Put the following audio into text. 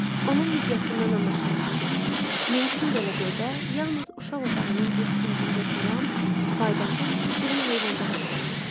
Onun miqyasından anlaşılırdı ki, mümkün gələcəkdə yalnız uşaq otağının bir küncündə duran faydasız, şirin heyvançıqaz ola bilər.